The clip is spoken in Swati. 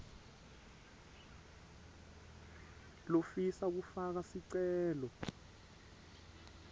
lofisa kufaka sicelo